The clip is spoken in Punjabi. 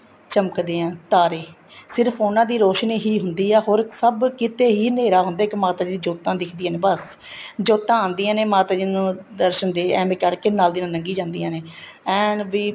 ਚਮਕਦੇ ਏ ਤਾਰੇ ਸਿਰਫ਼ ਉਹਨਾ ਦੀ ਰੋਸ਼ਨੀ ਹੀ ਹੁੰਦੀ ਆ ਹੋਰ ਸਭ ਕਿਤੇ ਹੀ ਹਨੇਰਾ ਹੁੰਦਾ ਇੱਕ ਮਾਤਾ ਜੀ ਦੀ ਜੋਤਾਂ ਦਿੱਖਦੀਆਂ ਨੇ ਬੱਸ ਜੋਤਾਂ ਆਂਦੀਆਂ ਨੇ ਮਾਤਾ ਜੀ ਨੂੰ ਦਰਸ਼ਨ ਦੇ ਐਵੇ ਕਰਕੇ ਨਾਲ ਦੀ ਨਾਲ ਲੱਗੀ ਜਾਂਦੀਆਂ ਨੇ ਐਨ ਵੀ